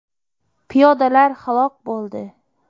Piyodalar halok bo‘ldi.